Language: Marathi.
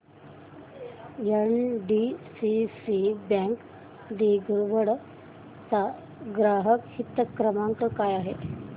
एनडीसीसी बँक दिघवड चा ग्राहक हित क्रमांक काय आहे